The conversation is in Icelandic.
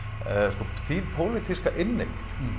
sko þín pólitíska inneign